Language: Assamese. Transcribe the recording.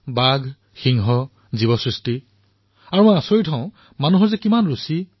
বাঘ সিংহ জীৱসৃষ্টি আৰু মই আচৰিত হও যে জনতাৰ ইমান ৰুচি